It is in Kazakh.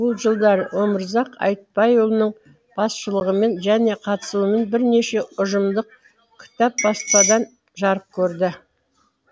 бұл жылдары өмірзақ айтбайұлының басшылығымен және қатысуымен бірнеше ұжымдық кітап баспадан жарық көрді